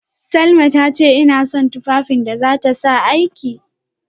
Salma tace ina son aikin da zata sa tufafin aiki